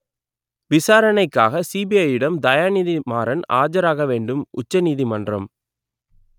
விசாரணைக்காக சிபிஐயிடம் தயாநிதி மாறன் ஆஜராக வேண்டும் உச்ச நீதிமன்றம்